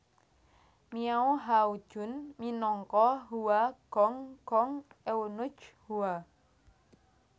Miao Hao Jun minangka Hua Gong Gong Eunuch Hua